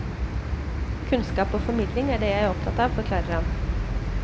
Kunnskap og formidling er det jeg er opptatt av, forklarer han.